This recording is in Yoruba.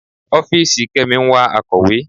Ọ́fìsì Kemi ń wá akọ̀wé.